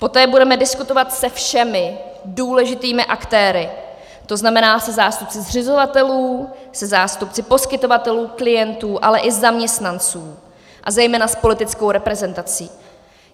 Poté budeme diskutovat se všemi důležitými aktéry, to znamená se zástupci zřizovatelů, se zástupci poskytovatelů, klientů, ale i zaměstnanců a zejména s politickou reprezentací.